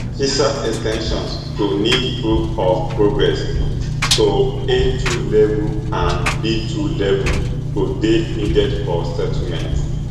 visa ex ten sions go need proof of progress to a two level and b two level go dey needed for settlement